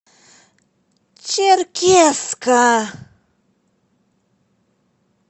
черкесска